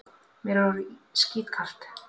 Mér er orðið skítkalt.